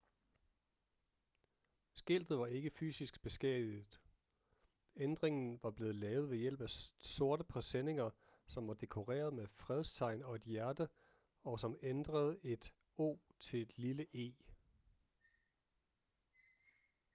skiltet var ikke fysisk beskadiget ændringen var blevet lavet ved hjælp af sorte presenninger som var dekoreret med fredstegn og et hjerte og som ændrede et o til et lille e